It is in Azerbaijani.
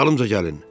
Dalımca gəlin!